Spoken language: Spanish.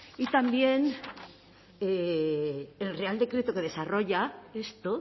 y también el real decreto que desarrolla esto